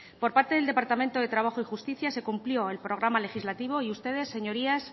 por parte del departamento de trabajo y justicia se cumplió el programa legislativo y ustedes señorías